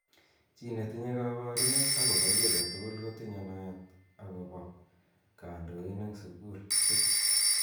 Chi netinye kabarunet akobo ki age tugul kotinye naet akobo kandoin eng sukulit.